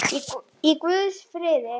Í guðs friði.